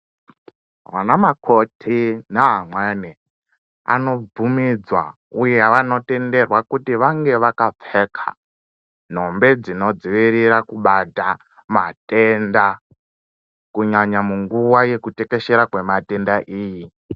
Vanamakoti neamweni anobvumidzwa uye vanotenderwa kuti vange vakapfeka nhumbi dzinodzivirira kubata matenda kunyanya munguva yekutekeshera kwematenda iyi.